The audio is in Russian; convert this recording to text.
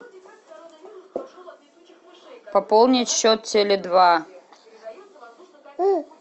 пополнить счет теле два